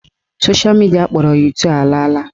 Sosha midia akpọrọ 2go ala ala.